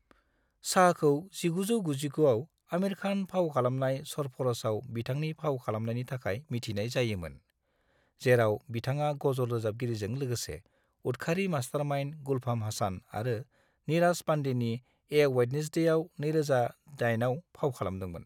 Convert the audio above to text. शाहखौ 1999 आव आमिर खान फाव खालामनाय "सरफ'र'श"आव बिथांनि फाव खालामनायनि थाखाय मिथिनाय जायोंमोन, जेराव बिथाङा गजल रोजाबगिरिजों लागोसे उदखारि मास्टारमाइन्ड गुलफाम हासान आरो नीराज पांडेनि "ए वेडनेस्डे"आव (2008) फाव खालामदोंमोन।